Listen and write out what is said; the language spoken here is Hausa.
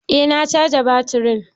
Eh na caja baturin